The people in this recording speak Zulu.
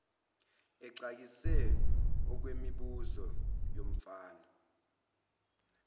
exakise okwemibuzo yomfana